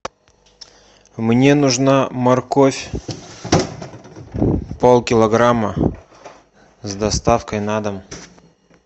мне нужна морковь полкилограмма с доставкой на дом